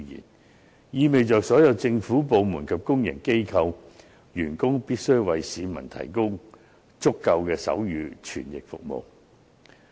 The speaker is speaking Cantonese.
這意味着所有政府部門及公營機構員工，必須為市民提供足夠的手語傳譯服務。